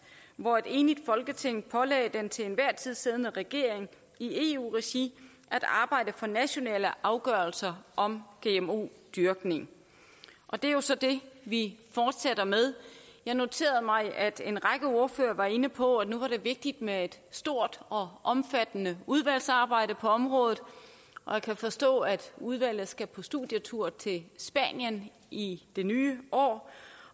hvor et enigt folketing pålagde den til enhver tid siddende regering i eu regi at arbejde for nationale afgørelser om gmo dyrkning det er jo så det vi fortsætter med jeg noterede mig at en række ordførere var inde på at det nu er vigtigt med et stort og omfattende udvalgsarbejde på området jeg kan forstå at udvalget skal på studietur til spanien i det nye år